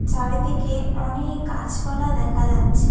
চারদিকে অনেক গাছপালা দেখা যাচ্ছে।